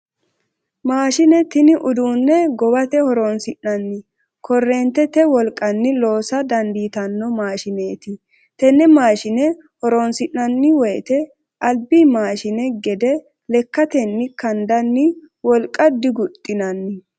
Maashine tini uduunne gowate horoonsi'nanni korreentete wolqanni loosa dandiitanno maashineeti. Tenne maashine horoonsi'nanni woyte albi maashine gede lekkatenni kandanni wolq diguxxinanni.